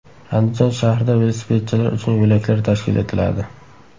Andijon shahrida velosipedchilar uchun yo‘laklar tashkil etiladi.